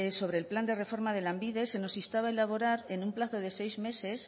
sobre el plan de reforma de lanbide se nos instaba a elaborar en un plazo de seis meses